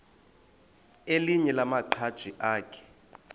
elinye lamaqhaji akhe